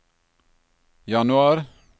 januar